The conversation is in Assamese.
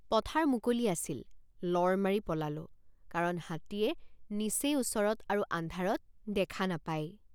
পথাৰ মুকলি আছিল লৰ মাৰি পলালোঁ কাৰণ হাতীয়ে নিচেই ওচৰত আৰু আন্ধাৰত দেখা নাপায়।